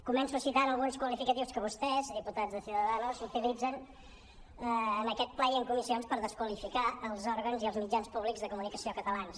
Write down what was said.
començo citant alguns qualificatius que vostès diputats de ciudadanos utilitzen en aquest ple i en comissions per desqualificar els òrgans i els mitjans públics de comunicació catalans